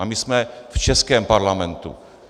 A my jsme v českém parlamentu.